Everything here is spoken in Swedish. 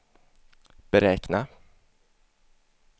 beräkna